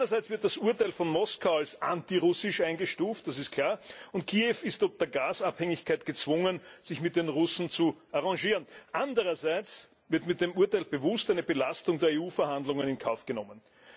Einerseits wird das Urteil von Moskau als antirussisch eingestuft, das ist klar, und Kiew ist ob der Gasabhängigkeit gezwungen, sich mit den Russen zu arrangieren. Andererseits wird mit dem Urteil bewusst eine Belastung der EU Verhandlungen in Kauf genommen.